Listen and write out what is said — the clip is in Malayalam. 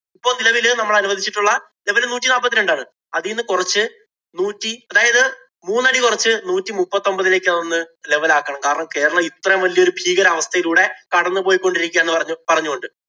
ഇപ്പൊ നിലവില് നമ്മള് അനുവദിച്ചിട്ടുള്ള നിലവില് നൂറ്റി നാപ്പത്തിരണ്ട് അതീന്ന് കൊറച്ച് നൂറ്റി അതായത് മൂന്നടി കുറച്ച് നൂറ്റി മുപ്പത്തിയൊമ്പതിലേക്ക് ഒന്ന് level ആക്കണം. കാരണം, കേരളം ഇത്രേം വലിയ ഒരു ഭീകരാവസ്ഥയിലൂടെ കടന്നു പോയിക്കൊണ്ടിരിക്കുകയാണ് എന്ന് പറഞ്ഞു~പറഞ്ഞു കൊണ്ട്`